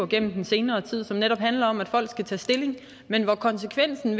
gennem den senere tid som netop handler om at folk skal tage stilling men at konsekvensen